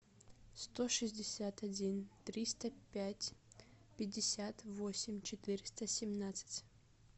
сто шестьдесят один триста пять пятьдесят восемь четыреста семнадцать